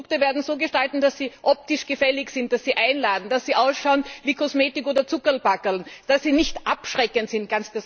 Die Produkte werden so gestaltet, dass sie optisch gefällig sind, dass sie einladen, dass sie aussehen wie Kosmetik oder Zuckerlpackerln, dass sie nicht abschreckend sind.